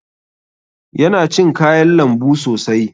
Yana cin kayan lambu sosai.